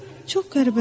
Çox qəribədir.